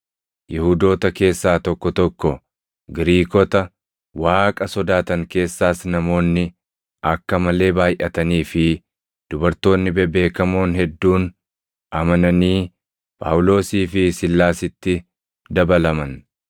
Yihuudoota keessaa tokko tokko, Giriikota Waaqa sodaatan keessaas namoonni akka malee baayʼatanii fi dubartoonni bebeekamoon hedduun amananii Phaawulosii fi Siilaasitti dabalaman.